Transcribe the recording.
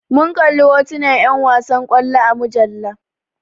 Mun kalli hotunan 'yan wasan kwallo a mujalla.